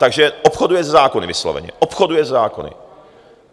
Takže obchoduje se zákony vysloveně, obchoduje se zákony.